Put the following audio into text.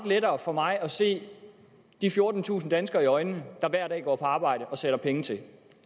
lettere for mig at se de fjortentusind danskere i øjnene der hver dag går på arbejde og sætter penge til og